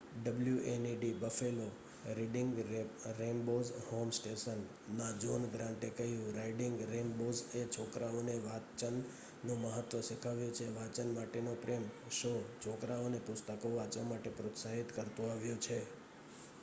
"wned Buffalo reading rainbows home station ના John Grant એ કહ્યું "રાઇડિંગ રેંબોઝએ છોકરાઓને વાચન નું મહત્વ શીખવ્યુ છે,.... વાચન માટે નો પ્રેમ - [શો] છોકરાઓ ને પુસ્તકો વાચવા માટે પ્રોત્સાહિત કરતુ આવ્યુ છે.